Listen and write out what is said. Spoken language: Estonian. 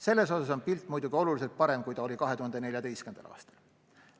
Selles osas on pilt muidugi oluliselt parem kui 2014. aastal.